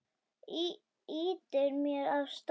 Ýtir mér af stað.